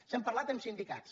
s’ha parlat amb sindicats